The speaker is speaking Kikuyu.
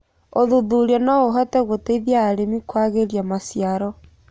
Ũthũthũrĩa noũhote gũteĩthĩa arĩmĩ kũagĩrĩa macĩaro